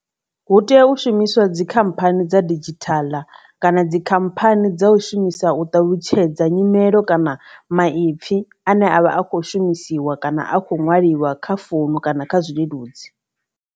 Hu tea u shumiswa dzikhamphani dza didzhithala kana dzikhamphani dza u shumisa u ṱalutshedza nyimelo kana maipfi ane avha a kho shumisiwa kana a kho nwaliwa kha founu kana kha zwileludzi.